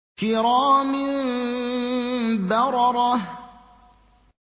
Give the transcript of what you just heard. كِرَامٍ بَرَرَةٍ